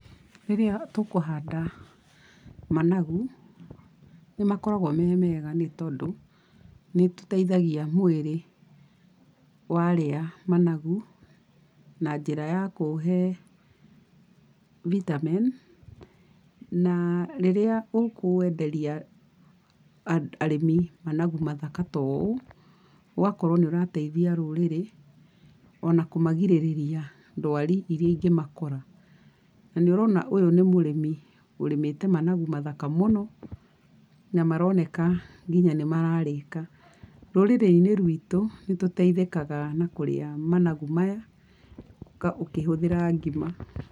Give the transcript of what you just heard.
Rĩrĩa tũkũhanda managu, nĩ makoragwo me mega nĩ tondũ nĩ tũteithagia mwĩrĩ warĩa managu, na njĩra ya kũũhe vitamin, na rĩrĩa ũkwenderia andũ arĩmi managu mathaka ta ũũ ũgakorwo nĩ ũrateithia rũrĩrĩ, ona kũmagirĩrĩria ndwari irĩa ingĩmakora. Na nĩ ũrona ũyũ nĩ mũrĩmi ũrĩmĩte managu mathaka mũno, na maroneka nginya nĩ mararĩka. Rũrĩrĩ-inĩ rwitũ, nĩ tũteithĩkaga na kũrĩa managu maya ũkĩhũthĩra ngima.